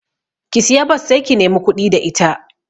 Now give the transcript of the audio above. Ki siya bas sai ki nemi kuɗi da ita